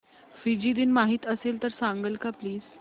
Fiji दिन माहीत असेल तर सांगाल का प्लीज